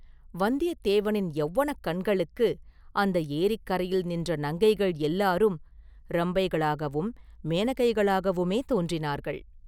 வந்தியத்தேவனின் யௌவனக் கண்களுக்கு அந்த ஏரிக்கரையில் நின்ற நங்கைகள் எல்லாரும் ரம்பைகளாகவும் மேனகைகளாகவுமே தோன்றினார்கள்!